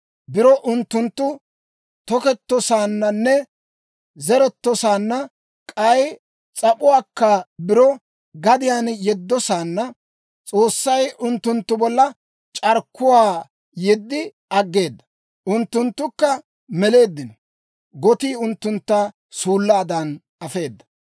Biro unttunttu tokettosaananne zerettosaanna, k'ay s'ap'uwaakka biro gadiyaan yeddosaanna, S'oossay unttunttu bolla c'arkkuwaa yeddi aggeeda; unttunttukka meleeddino; gotii unttuntta suullaadan afeeda.